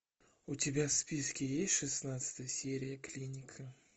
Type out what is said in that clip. у тебя в списке есть шестнадцатая серия клиника